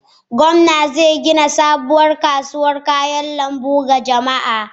Gwamna zai gina sabuwar kasuwar kayan lambu ga jama'a.